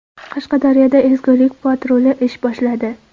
Qashqadaryoda ezgulik patruli ish boshladi.